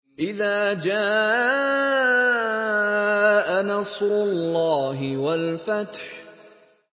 إِذَا جَاءَ نَصْرُ اللَّهِ وَالْفَتْحُ